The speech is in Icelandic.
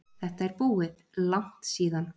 Þetta er búið, langt síðan.